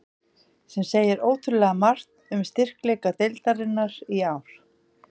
Sem segir ótrúlega margt um styrkleika deildarinnar í ár.